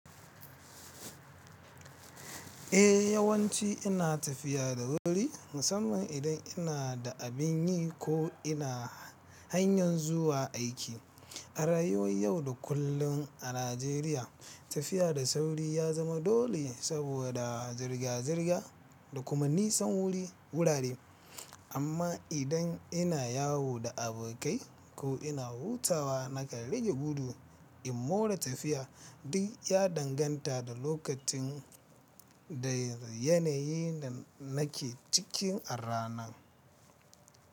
Eh yawanci ina tafiya da wuri, musamman idan ina da abin yi ko ina hanyar zuwa aiki. A rayuwar yau da kullun a Najeriya, tafiya da sauri ya zama dole saboda zirga-zirga da kuma nisan wurare. Amma idan ina yawo da abokai ko ina hutawa, nakan rage gudu, in more tafiya. Duk ya danganta da lokacin da yanayin da nake ciki a ranan.